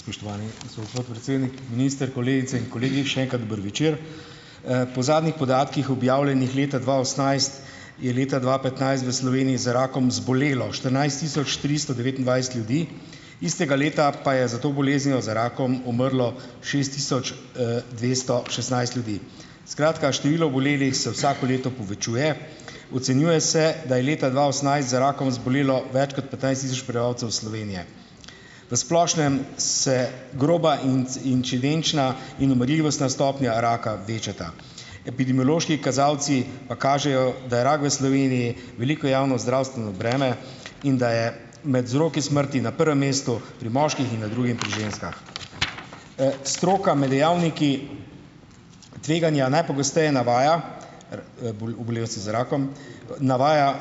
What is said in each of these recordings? Spoštovani gospod predsednik, minister, kolegice in kolegi še enkrat dober večer. Po zadnjih podatkih, objavljenih leta dva osemnajst, je leta dva petnajst v Sloveniji za rakom zbolelo štirinajst tisoč tristo devetindvajset ljudi, istega leta pa je za to boleznijo, za rakom umrlo šest tisoč, dvesto šestnajst ljudi. Skratka, število obolelih se vsako leto povečuje. Ocenjuje se, da je leta dva osemnajst za rakom zbolelo več kot petnajst tisoč prebivalcev Slovenije. V splošnem se groba in in umrljivostna stopnja raka večata. Epidemiološki kazalci pa kažejo, da je rak v Sloveniji veliko javnozdravstveno breme in da je med vzroki smrti na prvem mestu pri moških in na drugem pri ženskah. Stroka med dejavniki tveganja najpogosteje navaja za rakom navaja,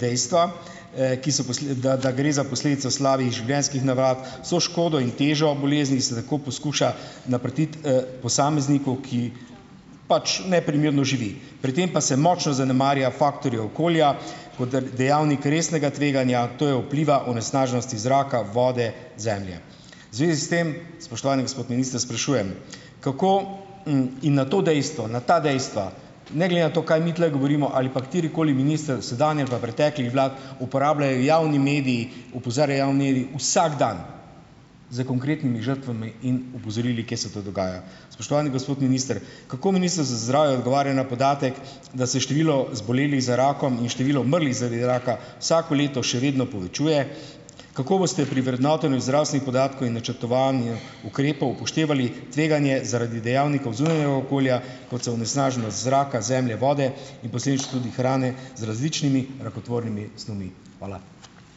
dejstva, ki so da da gre za posledico slabih življenjskih navad. Vso škodo in težo bolezni se tako poskuša naprtiti, posamezniku, ki pač neprimerno živi. Pri tem pa se močno zanemarja faktorje okolja, koder dejavnik resnega tveganja, to je vpliva onesnaženosti zraka, vode, zemlje. V zvezi s tem, spoštovani gospod minister, sprašujem, kako, in na to dejstva na ta dejstva, ne glede na to, kaj mi tule govorimo ali pa katerikoli minister sedanji ali pa preteklih vlad, uporabljajo javni mediji opozarjajo javni vsak dan s konkretnimi žrtvami in opozorili, kje se to dogaja. Spoštovani gospod minister, kako Ministrstvo za zdravje odgovarja na podatek, da se število zbolelih za rakom in število umrlih zaradi raka vsako leto še vedno povečuje? Kako boste pri vrednotenju zdravstvenih podatkov in načrtovanju ukrepov upoštevali tveganje zaradi dejavnikov zunanjega okolja , kot so onesnaženost zraka, zemlje, vode, in posledično tudi hrane z različnimi rakotvornimi snovmi? Hvala.